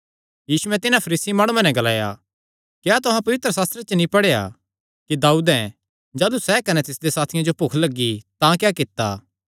यीशुयैं तिन्हां फरीसी माणुआं नैं ग्लाया क्या तुहां पवित्रशास्त्रे च नीं पढ़ेया कि दाऊदैं जाह़लू सैह़ कने तिसदे साथियां जो भुख लग्गी तां क्या कित्ता